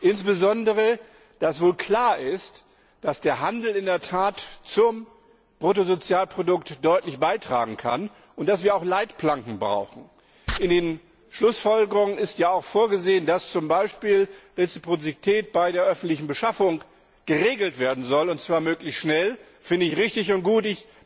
Insbesondere dass wohl klar ist, dass der Handel in der Tat deutlich zum Bruttosozialprodukt beitragen kann und dass wir auch Leitplanken brauchen. In den Schlussfolgerungen ist ja auch vorgesehen, dass zum Beispiel Reziprozität bei der öffentlichen Beschaffung geregelt werden soll, und zwar möglichst schnell das finde ich richtig und gut.